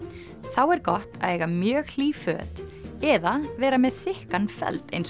þá er gott að eiga mjög hlý föt eða vera með þykkan feld eins